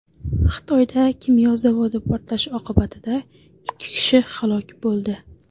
Xitoyda kimyo zavodi portlashi oqibatida ikki kishi halok bo‘ldi.